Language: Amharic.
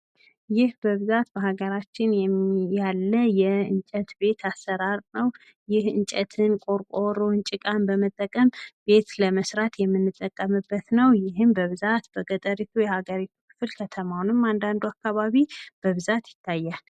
ይህ በሀገራችን በብዛት የሚገኘው የእንጨት ቤት አሰራር ነው። ይህ የእንጨት ቤት እንጨትን፣ ቆርቆሮን፣ ጭቃን በመጠቀም ቤት ለመስራት የምንጠቀምበት ነው ይህም በብዛት በገጠሩ የሀገሪቱ ክፍል ከተማውንም አንዳንዱ አካባቢ በብዛት ይታያል።